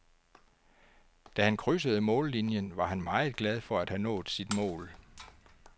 Da han krydsede mållinien var han meget glad for at have nået sit mål.